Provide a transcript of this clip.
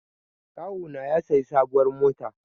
Kawuna ya sayi sabuwar mota